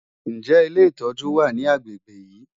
Ǹjẹ́ ilé ìtọ́jú wà ní agbègbè yìí?